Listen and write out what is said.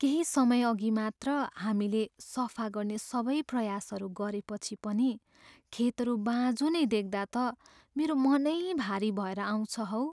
केही समयअघि मात्र हामीले सफा गर्ने सबै प्रयास गरेपछि पनि खेतहरू बाँझो नै देख्दा त मेरो मनै भारी भएर आउँछ हौ।